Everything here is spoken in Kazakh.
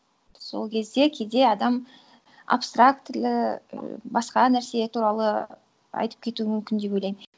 сол кезде кейде адам абстрактілі і басқа нәрсе туралы айтып кетуі мүмкін деп ойлаймын